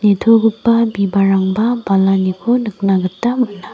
nitogipa bibalrangba balaniko nikna gita man·a.